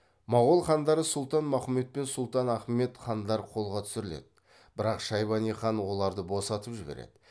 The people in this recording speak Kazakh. моғол хандары сұлтан махмұт пен сұлтан ахмет хандар қолға түсіріледі бірақ шайбани хан оларды босатып жібереді